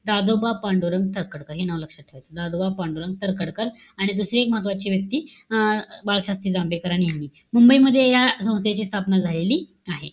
दादोबा पांडुरंग तर्खडकर हे नाव लक्षात ठेवायचंय. दादोबा पांडुरंग तर्खडकर. आणि दुसरी एक महत्त्वाची व्यक्ती, अं बाळशास्त्री जांभेकर हे नेहमी. मुंबई मध्ये या संस्थेची स्थापना झालेली आहे.